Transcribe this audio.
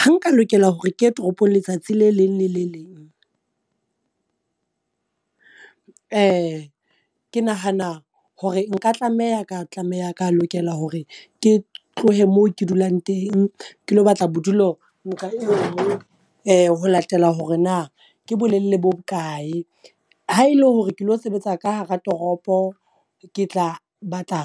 Ha nka lokela hore ke ye toropong letsatsi le leng le le leng, ke nahana hore nka tlameha ka tlameha ka lokela hore ke tlohe moo ke dulang teng. Ke lo batla bodulo nqa e nngwe ho latela hore na ke bolelele bo bokae. Ha e le hore ke lo sebetsa ka hara toropo, ke tla batla